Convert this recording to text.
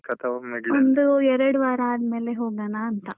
ಒಂದೆರಡು ವಾರ ಆದ್ಮೇಲೆ ಹೋಗೋಣ ಅಂತ.